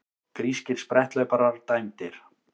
Grískir spretthlauparar dæmdir